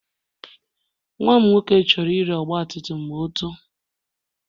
Nwa m nwoke chọrọ ire ọgbatumtum ma o too.